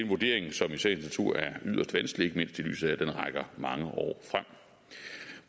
vurdering som i sagens natur er yderst vanskelig ikke mindst i lyset af at den rækker mange år frem